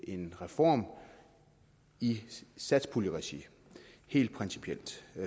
en reform i satspuljeregi helt principielt